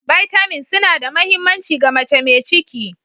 Bitamins suna da mahimmanci ga mace mai ciki.